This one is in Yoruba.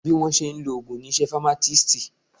Bí wọ́n ó ṣe lo ògùn ni iṣẹ́ famatisti